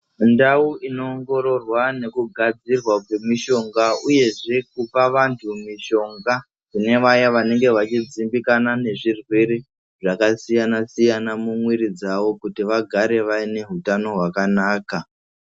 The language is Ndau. Mundau inoongororwa nekugadzirwa kwemishonga uyezve kupa vanhu mishonga kune vaye vanenge vachidzimbikana nezvirwere zvakasiyanasiyana mumwiri dzavo kuti vagare vaine utano hwakanaka.